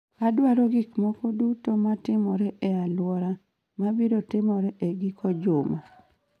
Adwaro gik moko duto ma timore e alwora mabiro timore e giko juma